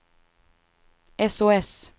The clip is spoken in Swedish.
sos